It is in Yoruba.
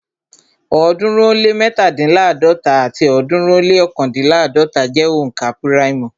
ọ̀ọ́dúnrún ó lé mẹ́tándínláàdọ́ta àti ọ̀ọ́dúnrún ó lé ọ̀kándínláàdọ́ta jẹ́ òǹkà púráìmù